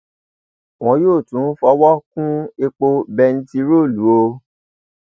wọn yóò tún fọwọ kún epo bẹntiróòlù o o